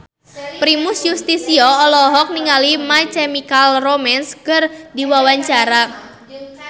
Primus Yustisio olohok ningali My Chemical Romance keur diwawancara